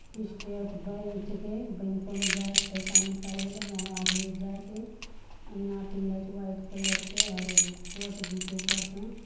State bank के बैंको में जाए छय पैसा निकाले ले वहां आदमी जाए छ यहां पिलर्स व्हाइट कलर के और कोर्ट भी छय ऊपर से।